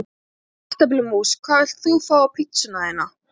Kartöflumús Hvað vilt þú fá á pizzuna þína?